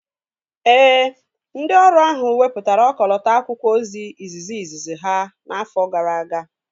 Ee, ndị ọrụ ahụ wepụtara ọkọlọtọ akwụkwọ ozi izizi izizi ha n'afọ gara aga